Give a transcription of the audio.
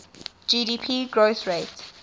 gdp growth rate